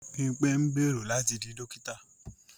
Bímpé ń gbèrò láti di dókítà